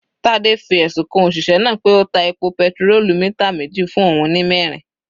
Tade fi ẹ̀sùn kan òṣìṣẹ́ náà pé ó ta epo petirólù lítà meji fún òun ní mẹrin.